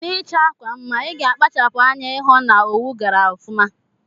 Na ichọ akwa mma iga akpachapu anya ihụ na owu gara ọfuma.